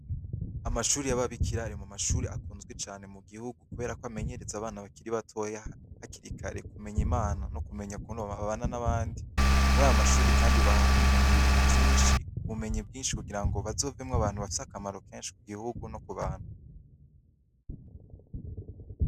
Amashure yaba bikira ari mumashure akunzwe cane mu gihugu, kuberako amenenyereza abana hakiri batoya hakiri kare kumenya Jmana no kumenya ukuntu bobana n'abandi. Murayo mashure Kandi bahamenyera vyinshi, ubumenyi bwinshi kugira ngo bazovemeo abantu bafise akamaro kenshi ku gihugu no ku bantu.